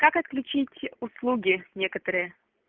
как отключить услуги некоторые